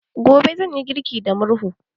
Gobe, zan yi girki da murhu.